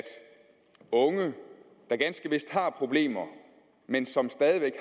unge der ganske vist har problemer men som stadig